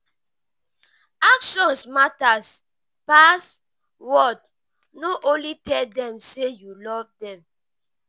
actions matter pass word no only tell them sey you love them